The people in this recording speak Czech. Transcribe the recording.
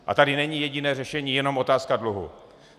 A tady není jediné řešení jenom otázka dluhu.